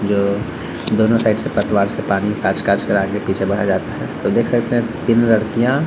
जो दोनों साइड से पतवार से पानी काछ - काछ कर आगे-पीछे बढ़ाया जाता है तो देख सकते हैं तीन लड़कियाँ --